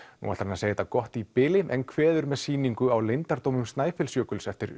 nú ætlar hann að segja þetta gott í bili en kveður með sýningu á leyndardómum Snæfellsjökuls eftir